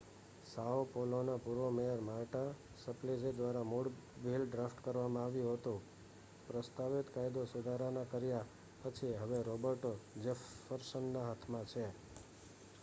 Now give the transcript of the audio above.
સાઓ પૌલોના પૂર્વ mayor Marta Suplicy દ્વારા મૂળ બિલ ડ્રાફ્ટ કરવામાં આવ્યું હતું પ્રસ્તાવિત કાયદો સુધારના કર્યા પછી હવે રૉબર્ટો જેફર્સનના હાથમાં છે